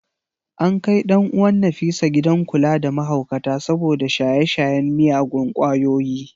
An kai ɗan uwan ​​Nafisa gidan kula da mahaukata saboda shaye-shayen miyagun kwayoyi.